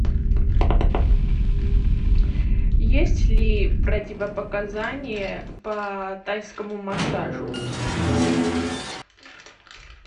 есть ли противопоказания по тайскому массажу